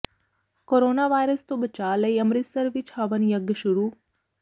corona virus ਤੋਂ ਬਚਾਅ ਲਈ ਅੰਮ੍ਰਿਤਸਰ ਵਿਚ ਹਵਨ ਯੱਗ ਸ਼ੁਰੂ